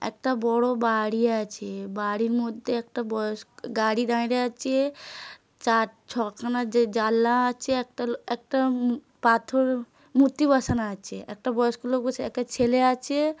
একটা বড়ো বা-আড়ি আছে বাড়ির মধ্যে একটা বয়স গাড়ি দাঁই রে আছে চার ছ খানা যে জা জানলা আছে একটা একটা মু পাথর মূর্তি বসানো আছে একটা বয়স্ক লোক বসে একটা ছেলে আছে।